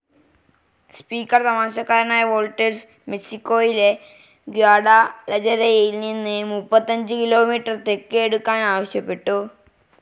Speaker തമാശക്കാരനായ Walters, മെക്സിക്കോയിലെ ഗ്വാഡാലജരയിൽ നിന്ന് മുപ്പത്തഞ്ചു കിലോമീറ്റർ തെക്ക് എടുക്കാൻ ആവശ്യപ്പെട്ടു.